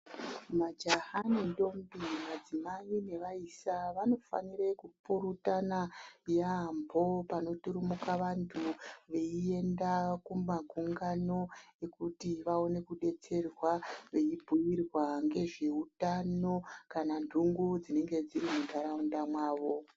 Majaya ne ntombi, madzimai nevaisa vanofanire kupurutana yaambho panoturumuka vantu veienda kumagungano ekuti vaone kudetserwa veibhuirwa ngezve utano kana ndhungu dzinenge dziri mundharaunda mavo.